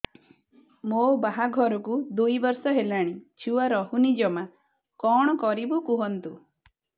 ମୋ ବାହାଘରକୁ ଦୁଇ ବର୍ଷ ହେଲାଣି ଛୁଆ ରହୁନି ଜମା କଣ କରିବୁ କୁହନ୍ତୁ